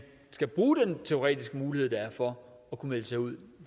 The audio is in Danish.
skal bruge den teoretiske mulighed der er for at kunne melde sig ud